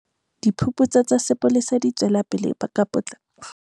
Diphuputso tsa sepolesa di tswelapele ka potlako e kgolo.